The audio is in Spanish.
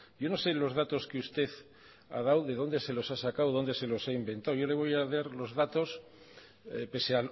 yo no sé los datos que usted ha dado de dónde se los ha sacado de dónde se los ha inventado yo le voy a dar los datos pese